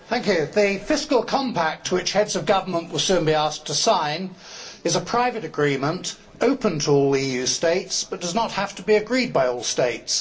Mr President, the Fiscal Compact which Heads of Government will soon be asked to sign is a private agreement open to all EU States, but does not have to be agreed by all States.